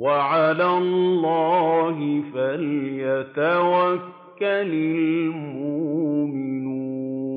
وَعَلَى اللَّهِ فَلْيَتَوَكَّلِ الْمُؤْمِنُونَ